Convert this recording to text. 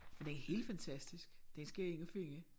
Men den er helt fantastisk. Den skal jeg ind og finde